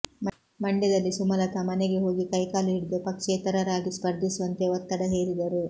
ಮಂಡ್ಯದಲ್ಲಿ ಸುಮಲತಾ ಮನೆಗೆ ಹೋಗಿ ಕೈ ಕಾಲು ಹಿಡಿದು ಪಕ್ಷೇತರರಾಗಿ ಸ್ಪರ್ಧಿಸುವಂತೆ ಒತ್ತಡ ಹೇರಿದರು